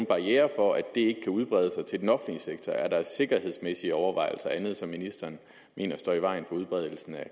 barriere for at det kan udbredes til den offentlige sektor er der sikkerhedsmæssige overvejelser og andet som ministeren mener står i vejen for udbredelsen af